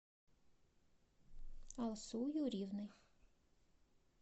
алсу юрьевной